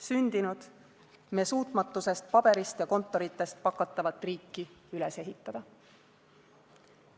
Sündinud me suutmatusest paberist ja kontoritest pakatavat riiki üles ehitada.